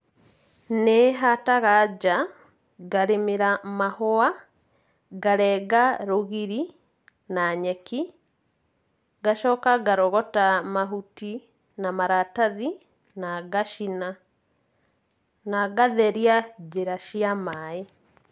Nĩ hataga nja, ngarĩmĩra mahũa, ngarenga rũgiri na nyeki, ngacoka ngarogota mahuti na maratathi na ngacina na ngatheria njĩra cia maĩ.